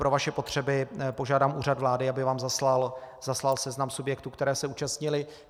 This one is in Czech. Pro vaše potřeby požádám Úřad vlády, aby vám zaslal seznam subjektů, které se účastnily.